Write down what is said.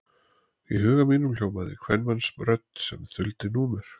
Í huga mínum hljómaði kvenmannsrödd sem þuldi númer.